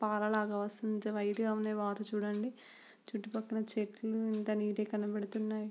పల లాగా వస్తుంది. వైట్ గ ఉంది వాటర్ చుడండి. చుట్టూ పక్కల చెట్లు ఎంత నీట్ గ కనబడుతున్నై.